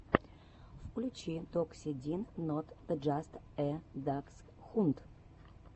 включи докси дин нот джаст э даксхунд